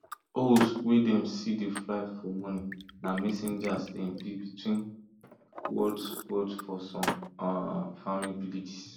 owls wey them see dey fly for morning na messengers them be between worlds worlds for some um farming villages